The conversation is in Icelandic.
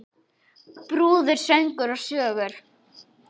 Brúður, söngur og sögur.